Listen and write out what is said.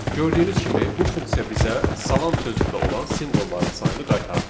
Gördüyünüz kimi bu funksiya bizə salam sözündə olan simvolların sayını qaytardı.